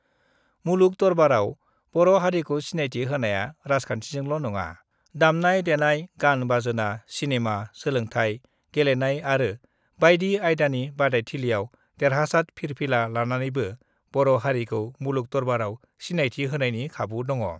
मुलुग दरबाराव बर' हारिखौ सिनायथि होनाया राजखान्थिजोंल नङा दामनाय-देनाय गान बाजोना, सिनेमा, सोलोंथाय गेलेनाय आरो बायदि आयदानि बादायथिलियाव देरहासाद फिरफिला लानानैबो बर' हारिखौ मुलुग दरबाराव सिनायथि होनायनि खाबु दङ।